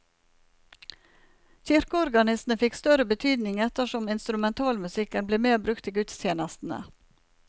Kirkeorganistene fikk større betydning etter som instrumentalmusikken ble mer brukt i gudstjenestene.